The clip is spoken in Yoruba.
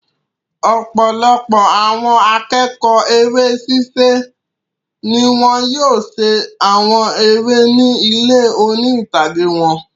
Ọ̀pọlọpọ̀ àwọn akẹ́kọ̀ọ́ eré ṣiṣẹ́ ni wọ́n yóò ṣe àwọn eré ni ilé oní-ìtàgé wọn.